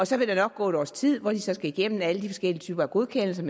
så vil der nok gå et års tid hvor den skal igennem alle de forskellige typer af godkendelser